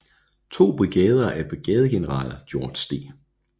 To brigader af brigadegeneral George D